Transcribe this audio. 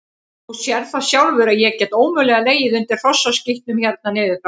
Þú sérð það sjálfur að ég get ómögulega legið undir hrossaskítnum hérna niður frá.